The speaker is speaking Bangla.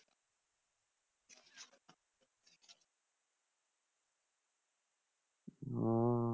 ওহ